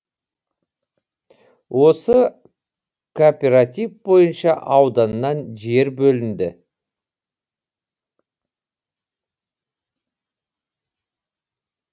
осы кооператив бойынша ауданнан жер бөлінді